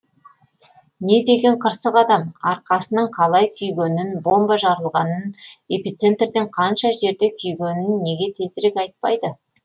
не деген қырсық адам арқасының қалай күйгенін бомба жарылған эпицентрден қанша жерде күйгенін неге тезірек айтпайды